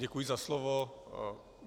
Děkuji na slovo.